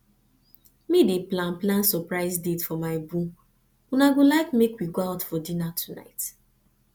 medey plan plan surprise date for my boo una go like make we go out for dinner tonight